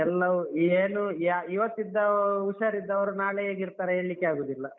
ಎಲ್ಲವೂ ಏನೂ ಯಾ ಇವತ್ತಿದ್ದ ಹುಷಾರಿದ್ದವರು ನಾಳೆ ಹೇಗ್ ಇರ್ತಾರೆ ಹೇಳಿಕ್ಕೆ ಆಗುದಿಲ್ಲ.